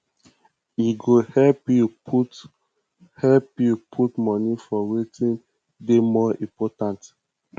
e go help yu put help yu put moni for wetin dey more important